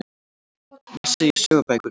Messi í sögubækurnar